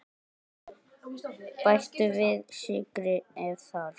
Bættu við sykri ef þarf.